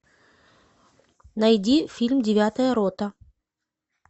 найди фильм девятая рота